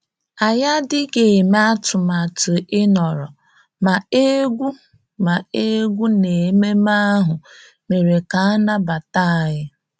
Anyị adịghị eme atụmatụ ịnọrọ, ma egwú ma egwú na ememe ahụ mere ka a nabata anyị